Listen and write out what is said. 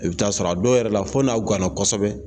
I bɛ taa sɔrɔ a dɔw yɛrɛ la fo n'aw gan na kosɛbɛ.